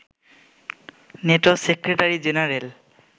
NATO secretary general